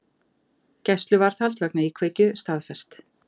Gæsluvarðhald vegna íkveikju staðfest